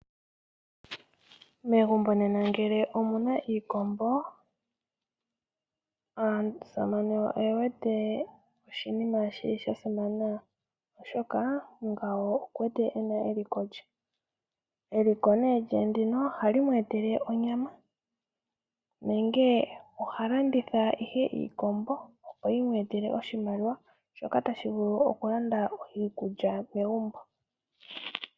Megumbo nena ngele omuna iikombo aasamane oye wete oshinima shili sha simana oshoka ngawo oku wete ena eliko, eliko lye ndino ohali mweetele onyama nenge ha landitha iikombo opo yi mweetela oshimaliwa shoka tashi vulu oku landa iikulya megumbo.